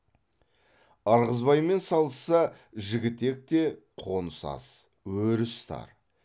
ырғызбаймен салысса жігітекте қоныс аз өріс тар